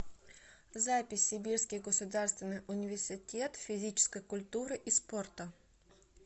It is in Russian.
запись сибирский государственный университет физической культуры и спорта